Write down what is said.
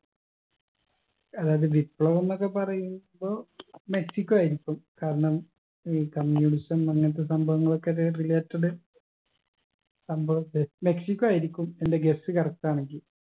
അതായത് വിപ്ലവംന്നൊക്കെ പറയുമ്പൊ മെക്സിക്കോ ആയിരിക്കും കാരണം ഈ communism അങ്ങനത്തെ സംഭവനകൾകൊക്കെ related സംഭവം മെക്സിക്കോ ആയിരിക്കും എന്റെ guess correct ആണെങ്കി